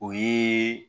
O ye